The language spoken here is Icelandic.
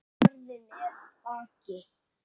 Ferðin er að baki.